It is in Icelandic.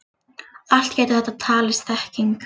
Allt getur þetta talist þekking.